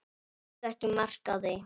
Tók ekki mark á því.